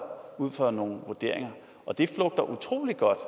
ud fra nogle vurderinger det flugter utrolig godt